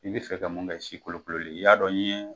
I bi fɛ ka mun kɛ sikolokololen ye y'a dɔn n ye.